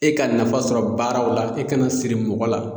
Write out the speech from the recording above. E ka nafa sɔrɔ baaraw la e kana siri mɔgɔ la.